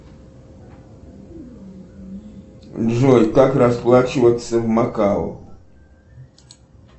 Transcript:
джой как расплачиваться в макао